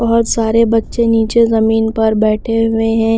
बहुत सारे बच्चे नीचे जमीन पर बैठे हुए हैं।